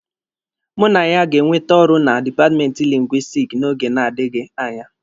Mụ na ya ga-enwete ọrụ na dipatmenti Lingwisitiki n'oge na-adịghị anya.